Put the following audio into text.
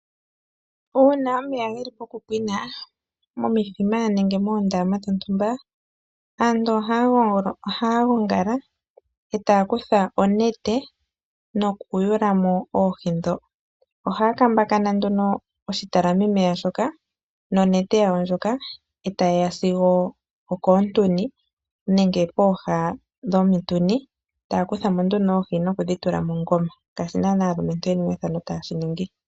Uuna omeya geli poku pwina momithima nenge moondama dhontumba aantu ohaya gongala etaya kutha onete noku yewulamo oohi ndho ohaya kambakana oshitalami meya shoka nonete yawo ndjoka etaya sigo okoontuni nenge koha dhomutuni taya kuthamo oohi nokudhi tula mogoma.